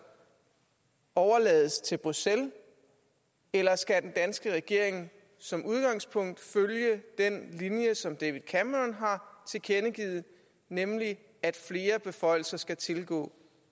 overlades til bruxelles eller skal den danske regering som udgangspunkt følge den linje som david cameron har tilkendegivet nemlig at flere beføjelser skal tilgå